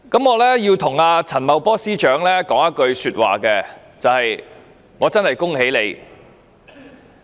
我要對陳茂波司長說一句話，就是我真的恭喜他。